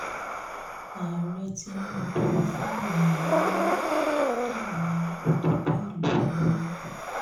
ààrẹ tinubu fàmì ẹyẹ ńlá dá àwọn òtòkù ìlú lọ́lá